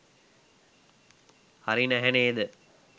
හරි නැහැ නේද?